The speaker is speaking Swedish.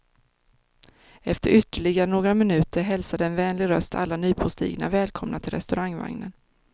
Efter ytterligare några minuter hälsade en vänlig röst alla nypåstigna välkomna till restaurangvagnen.